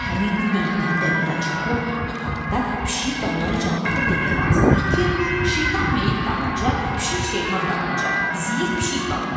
Onlar həmin gün günahkarı qəbirdən çıxarıb aparanda pişiyi dallarıca atıb demək lazımdır ki, şeytan meyit dalınca, pişik şeytan dalınca, ziyil pişik dalınca.